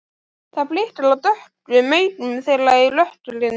Það blikar á dökku augun þeirra í rökkrinu.